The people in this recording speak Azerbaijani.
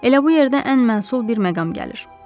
Elə bu yerdə ən məsul bir məqam gəlir.